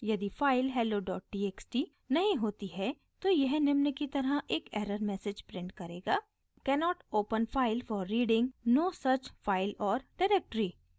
यदि file hellotxt नहीं होती है तो यह निम्न की तरह एक एरर मैसेज प्रिंट करेगा:cannot open file for reading : no such file or directory